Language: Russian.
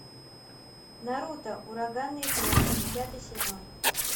наруто ураганные хроники пятый сезон